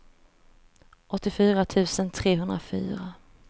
åttiofyra tusen trehundrafyra